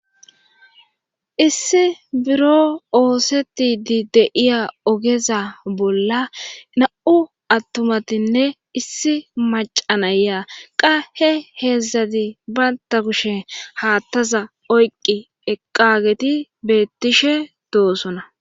Issi biro ooseti di deiya ogeza bolla na'u attumatinne issi macanaya qahe heedzdzati baynta kushen haattaza oyqi eqageti beettishe doosona.